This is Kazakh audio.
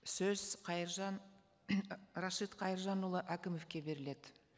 сөз қайыржан рашид қайыржанұлы әкімовке беріледі